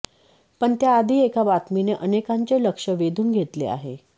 पण त्याआधी एका बातमीने अनेकांचे लक्ष वेधून घेतले आहे